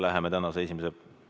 Läheme tänase esimese ...